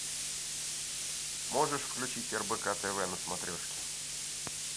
можешь включить рбк тв на смотрешке